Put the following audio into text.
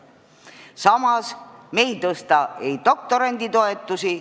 Samas me ei tõsta doktoranditoetusi.